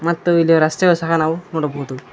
ಮತ್ತು ಇಲ್ಲಿ ರಸ್ತೆಯು ಸಹ ನಾವು ನೋಡಬಹುದು.